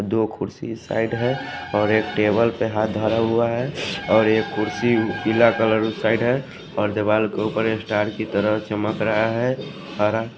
दो कुर्सी इस साइड है और एक टेबल पे हाथ धरा हुआ है और एक कुर्सी पीला कलर उस साइड है और देवाल के ऊपर ये ऊपर ये स्टार की तरह चमक रहा है हारा --